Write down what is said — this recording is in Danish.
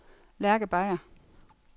Lærke Beyer